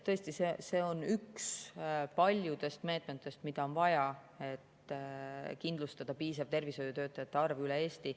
Tõesti, see on üks paljudest meetmetest, mida on vaja, et kindlustada tervishoiutöötajate piisav arv üle Eesti.